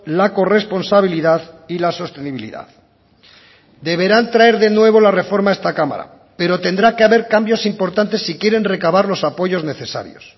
la corresponsabilidad y la sostenibilidad deberán traer de nuevo la reforma a esta cámara pero tendrá que haber cambios importantes si quieren recabar los apoyos necesarios